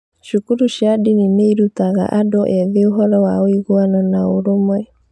Cukuru cia ndini nĩ irutaga andũ ethĩ ũhoro wa ũiguano na ũrũmwe.